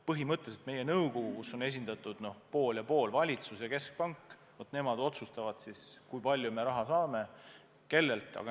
Põhimõtteliselt meie nõukogu, kus on võrdselt, pool ja pool, esindatud valitsus ja keskpank, otsustab, kui palju me raha saame ja kellelt.